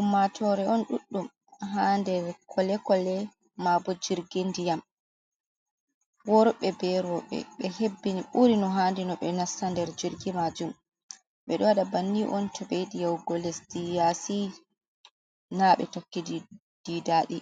Ummatoore on ɗuɗɗum haa nder, kolekole mabo jirgi nɗiyam. Worɓe, be rooɓe, ɓe hebbini ɓuri no hanndi no ɓe nasta nder jirgi maajum, ɓe ɗo waɗa bannin on to ɓe yiɗi yahugo lesdi yaasi, na ɓe tokki ɗi daɗi,